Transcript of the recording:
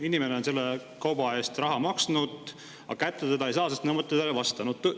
Inimene on selle kauba eest raha maksnud, aga kätte seda ei saa, sest nõuetele see ei vasta.